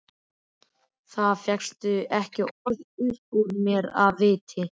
Það fékkst ekki orð upp úr mér af viti.